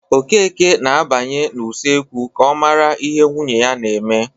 Okeke na-abanye n'usekwu ka ọ mara ihe nwunye na-eme.